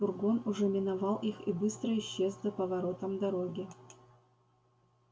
фургон уже миновал их и быстро исчез за поворотом дороги